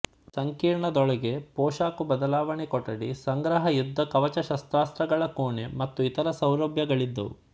ಸಂಕೀರ್ಣದೊಳಗೆ ಪೋಷಾಕು ಬದಲಾವಣೆ ಕೊಠಡಿ ಸಂಗ್ರಹ ಯುದ್ಧ ಕವಚಶಸ್ತಾಸ್ತ್ರಗಳ ಕೋಣೆ ಮತ್ತು ಇತರ ಸೌಲಭ್ಯಗಳಿದ್ದವು